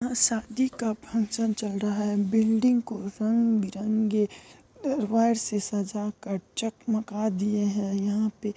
संधि का पूजा चल रहा है बिल्डिंग को रंग वायर के वायर से सजाकर चमकदार दीए हैं।